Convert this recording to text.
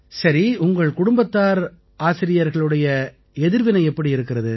சரி உங்கள் குடும்பத்தார் ஆசிரியர்களுடைய எதிர்வினை எப்படி இருக்கிறது